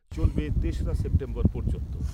চলবে তেসরা সেপ্টেম্বর পর্যন্ত।